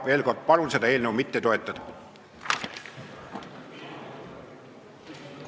Veel kord palun seda eelnõu mitte toetada!